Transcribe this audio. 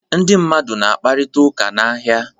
Ndị mmadụ na-akparịta ụka n'ahịa.